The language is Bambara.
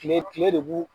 Kile kile de b'u